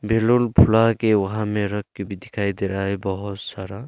Balloon फूला के वहां में रख के भी दिखाई दे रहा है बहुत सारा।